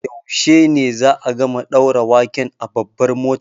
Yaushe ne za'a gama ɗaura waken a Babbar Motan?